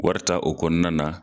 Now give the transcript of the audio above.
Wari ta o kɔnɔna na.